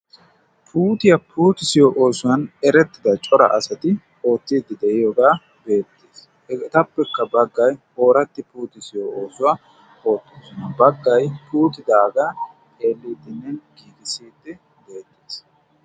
putiyaa puutisiyo oosuwan erettida cora asati oottiiddi de'iyoogaa beettiis eetappekka baggay ooratti puuti siyo oosuwaa oottoosuna baggay puutidaagaa eelliitinne giigissiidti deettiis